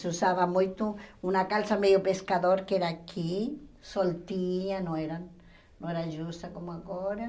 Se usava muito uma calça meio pescador, que era aqui, soltinha, não era não era justa como agora.